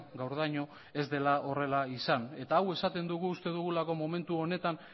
gaurdaino ez dela horrela izan eta hau esaten dugu uste dugulako momentu honetan